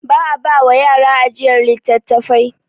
Ba a ba wa yara ajiyar littattafai.